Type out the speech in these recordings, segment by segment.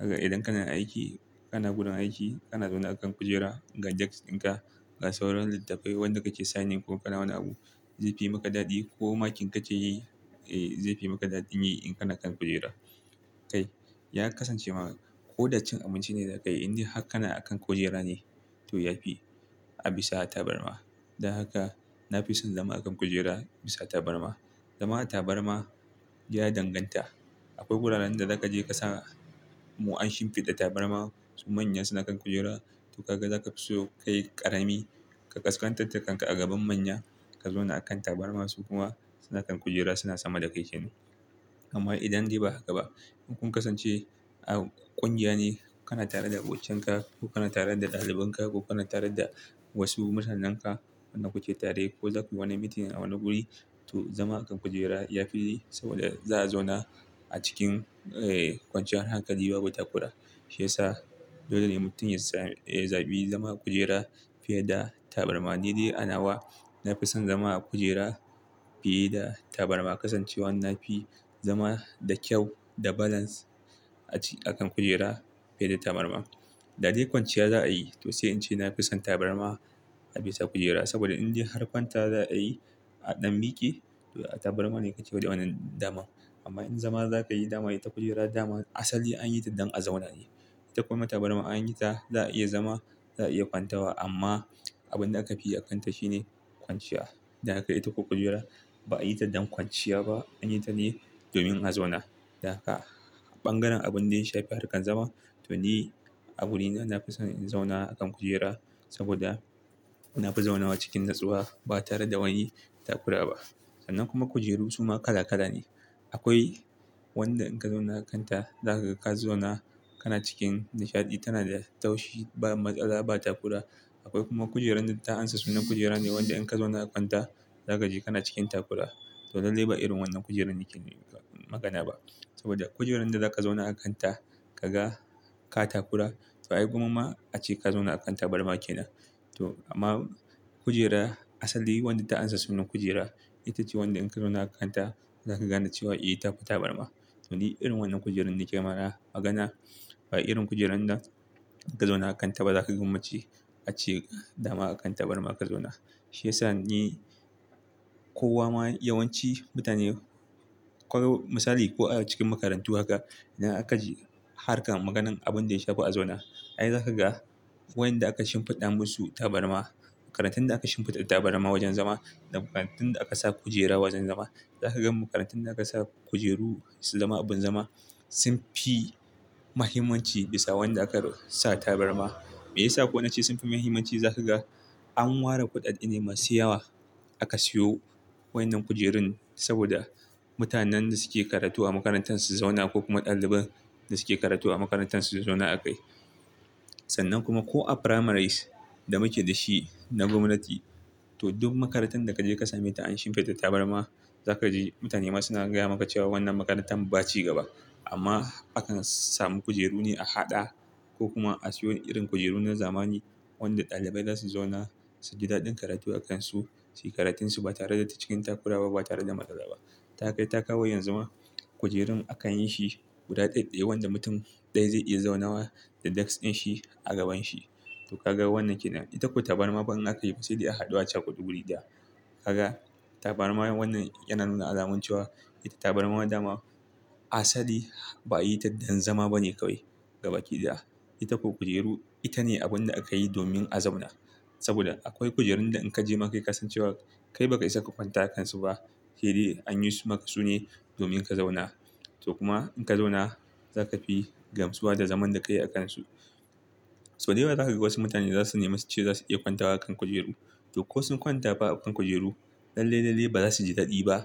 Idan kana aiki, kana wurin aiki, kana zaune a kan kujera ga desk ɗin ka, ga sauran littattafai wanda kake signing ko kana wani abu, zai fi maka daɗi ko makin kake yi, eh zai fi maka daɗin yi in kana kan kujera. Kai, ya kasance ma ko da cin abinci ne za kai idan har ka kana a kan kujera ne to ya fi a bisa tabarma. Dan haka na fi son zama a kan kujera bisa tabarma. Zama a tabarma ya danganta. Akwai wuraren da za ka je ka samu an shimfiɗa tabarma su manya suna kan kujera to kaga za ka fi so kai ƙarami, ka kaskantar da kanka a gaban manya ka zauna a kan tabarma su kuma suna kan kujera suna sama da kai shi ne. Amma idan dai ba haka ba ku kun kasance a ƙungiya ne, kana tare da abokinka ka ko kana tare da ɗalibin ka ko kana tare da wasu mutanen ka wanda ku ke tare ko za ku yi wani meeting a wani wuri to zama a kan kujera ya fi yi saboda za a zauna a cikin, ee kwanciyar hankali babu takura. Shi yasa dole ne mutum ya sa ya zaɓi zama a kujera fiye da tabarma. Ni dai anawa na fi son zama a kujera fiye da tabarma. Kasancewar na fi zama da kyau da balance a ci a kan kujera fiye da tabarma. Da dai kwanciya za a yi to sai in ce na fi son tabarma a bisa kujera. Saboda indai har kwanta za a yi a ɗan miki to a tabarma ne kake wannaenwannan damar. Amma in zama za ka yi dama ita kujera daman asali an yi ta don a zauna ne. Kuma tabarma an yi ta za a iya zama, za a iya kwantawa amma abin da aka fi yi a kanta shine kwanciya. Dan haka ita ko kujera ba a yi ta don kwanciya ba an yi ta ne domin a zauna. Dan haka bangaren abin da ya shafi harkar zama to ni a wurina na fi son in zauna a kan kujera saboda na fi zaunawa cikin natsuwa ba tare da wani takura ba. Sannan kuma kujeru su ma kala kala ne. Akwai wanda in ka zauna a kanta za ka ka zauna kana cikin nishaɗi, tana da taushi ba matsala ba takura. Akwai kuma kujeran da ta ansa sunan kujera ne wanda in ka zauna a kanta za ka ji kana cikin takura. To lallai ba irin wannan kujerun nake magana ba. Saboda kujeran da za ka zauna a kanta ka ga ka takura to ai gwamma ace ka zauna a kan tabarma ke nan. To amma kujera asali wadda ta ansa sunan kujera ita ce wanda in ka zauna a kanta za ka ga na ce wa eh ta fita tabarma. To ni irin wannan kujerun nake mana magana. Ba irin kujerun da ka zauna a kanta ba za ka gwammace ace dama a kan tabarma ka zauna. Shi yasa ni kowa ma yawanci mutane ko misali ko a cikin makarantu haka ina aka ji harkar maganan abin da ya shafi a zauna. Ai za ka ga wayanda aka shimfiɗa musu tabarma, makarantun da aka shimfiɗa tabarma wajen zama da makarantun da aka sa kujera wajen zama. Za ka gan makarantun da aka sa kujeru su zama abin zama sun fi muhimmanci bisa wanda aka sa tabarma. Me yasa kuwa na ce sun fi muhimmanci? Za ka ga an ware kuɗaɗe ne masu yawa aka siyo wayannan kujerun saboda mutanen da suke karatu a makarantun su zauna ko kuma ɗaliban da suke karatu a makarantun su zauna a kai. Sannan kuma ko a primaries da muke da shi na gwamnati to duk makarantan da ka je ka same ta an shimfiɗa tabarma za ka ji mutane ma suna gaya maka cewa wannan makarantar ba ci gaba. Amma akan samu kujeru ne a haɗa ko kuma a siyo irin kujeru na zamani wanda ɗalibai za su zauna su ji daɗin karatu a kansu, su yi karatun su ba tare da cikin takurawa ba tare da matsala ba. Ta kai ta kawo yanzu ma kujerun akan yi shi guda ɗaya ɗaya wanda mutum ɗaya zai iya zaunawa da desk ɗin shi a gaban shi. To kaga wannan ke nan. Ita ko tabarma fa in aka yi fa sai a haɗu a cakudu wuri ɗaya. Kaga tabarma wannan yana nuna alamun cewa. Ita tabarma dama asali ba a yi ta don zama ba ne kawai gabaki ɗaya. Ita ko kujeru ita ne abin da aka yi domin a zauna. Saboda akwai kujerun da in ka je ma kai ka san cewa kai ba ka isa ka kwanta a kansu ba. Sai dai an yi su maka su ne domin ka zauna. To kuma in ka zauna za ka fi gamsuwa da zaman da ka yi a kansu. So dayawa za ka ga wasu mutane za su nemi su ce za su iya kwantawa a kan kujeru. To ko sun kwanta fa a kan kujeru lallai lallai ba za su ji daɗi ba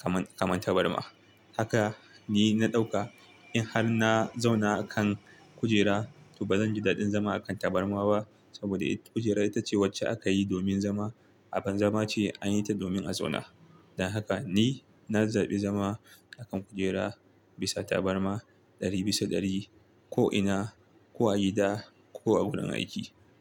kamar, kamar tabarma. Haka ni na ɗauka in har na zauna a kan kujera to ba zan ji daɗin zama a kan tabarma ba saboda ita kujera ita ce wacce aka yi domin zama. Abin zama ce an yi ta domin a zauna. Dan haka ni na zaɓi zama a kan kujera bisa tabarma ɗari bisa ɗari ko ina, ko a gida ko a wurin aiki.